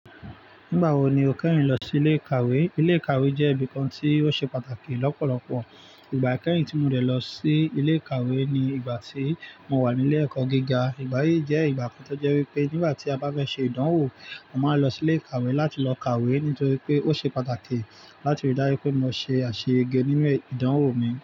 Nígbà wo ni o kẹ́rìn lọ sí ilé ìkàwé? Ilé ìkàwé jẹ́ ibi kan tí ó ṣe pàtàkì lọ́pọ̀lọpọ̀. Ìgbà ikeyìn tí mo de lọ sí ilé ìkàwé ni ìgbà tí mo wà nílé ẹ̀kọ́ gíga. Ìgbà yí jẹ́ ìgbà kan tó jẹ́ wípé nígbà tí a bá fẹ́ ṣe ìdánwò, a máa lọ sí ilé ìkàwé láti lọ kàwé nítorí pé ó ṣe pàtàkì láti rí dájú pé mo ṣe àṣẹ yege nínú e ìdánwò mi.